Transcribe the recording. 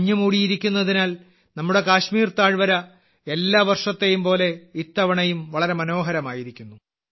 മഞ്ഞുമൂടിയിരിക്കുന്നതിനാൽ നമ്മുടെ കാശ്മീർ താഴ്വര എല്ലാ വർഷത്തേയുംപോലെ ഇത്തവണയും വളരെ മനോഹരമായിരിക്കുന്നു